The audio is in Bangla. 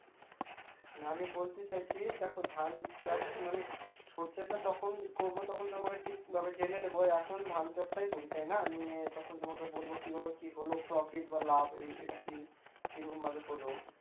না আমি বলতে চাইছি দেখো ধান চাষ মানে সর্ষেটা যখন করব তখন তো আমাকে ঠিক ভাবে জেনে নেব এখন ধান চাষাই করি তাই না আমি তখন তোমাকে বলব কী ভাবে কী হল profit বা লাভে এটা কী এটা কিরকমভাবে হল